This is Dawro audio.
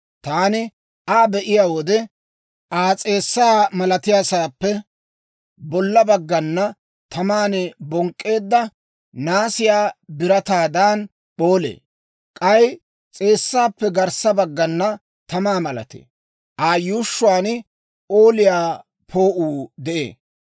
Taani Aa be'iyaa wode, Aa s'eessaa malatiyaassaappe bolla baggay taman bonk'k'eedda naasiyaa birataadan p'oolee; k'ay s'eessaappe garssa baggay tamaa malatee; Aa yuushshuwaan p'ooliyaa poo'uu de'ee.